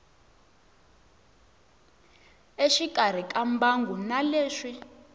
exikarhi ka mbangu na leswi